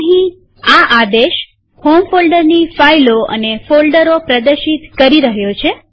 અહીં આ આદેશ હોમ ફોલ્ડરની ફાઈલો અને ફોલ્ડરો પ્રદર્શિત કરી રહ્યો છે